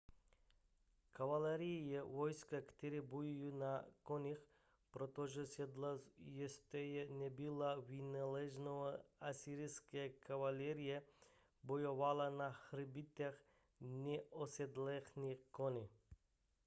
kavalérie je vojsko které bojuje na koních protože sedlo ještě nebylo vynalezeno asyrská kavalérie bojovala na hřbetech neosedlaných koní